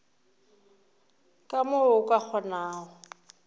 ka mo o ka kgonago